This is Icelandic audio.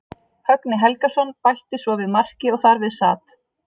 Högni Helgason bætti svo við marki og þar við sat.